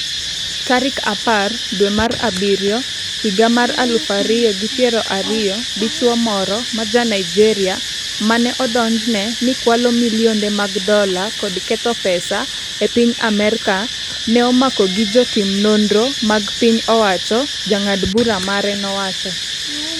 tarik apar dwe mar abiriyo higa mar aluf ariyo gi piero ariyo Dichuo moro ma Ja Naijeria mane odonjne ni kwalo milionde mag dola kod ketho pesa e piny Amerka ne omako gi jotim nonro mag piny owacho, jang'ad bura mare nowacho.